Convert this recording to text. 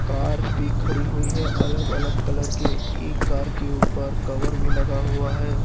Car भी खड़ी हुई है अलग अलग कलर के एक कार के ऊपर कवर भी लगा हुआ है।